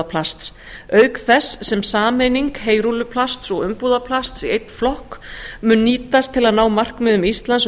umbúðaplast auk þess sem sameining heyrúlluplasts og umbúðaplasts í einn flokk mun nýtast til að ná markmiðum íslands um